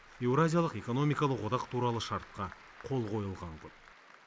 еуразиялық эконмикалық одақ туралы шартқа қол қойылған күн